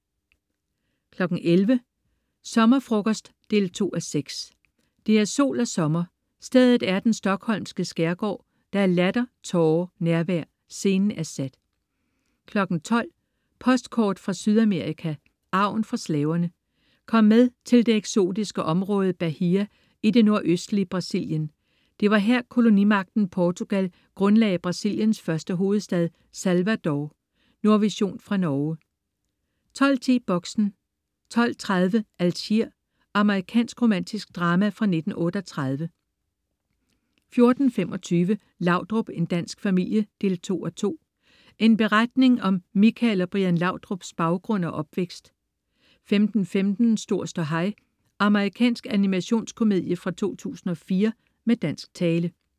11.00 Sommerfrokost 2:6. Det er sol og sommer, stedet er den stockholmske skærgård, der er latter, tårer, nærvær. Scenen er sat 12.00 Postkort fra Sydamerika: Arven fra slaverne. Kom med til det eksotiske område Bahía i det nordøstlige Brasilien. Det var her, kolonimagten Portugal grundlagde Brasiliens første hovedstad, Salvador. Nordvision fra Norge 12.10 Boxen 12.30 Algier. Amerikansk romantisk drama fra 1938 14.25 Laudrup, en dansk familie 2:2. En beretning om Michael og Brian Laudrups baggrund og opvækst 15.15 Stor ståhaj. Amerikansk animationskomedie fra 2004 med dansk tale